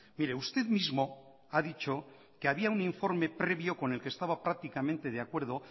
mire usted mismo ha dicho que había un informe previo con el que estaba prácticamente de acuerdo